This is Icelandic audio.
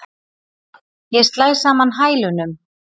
Ég slæ saman hælunum.